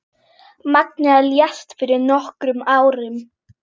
Magnea lést fyrir nokkrum árum.